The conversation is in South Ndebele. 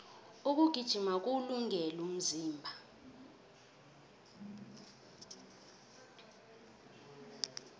ukugijima kuwulungele umzimba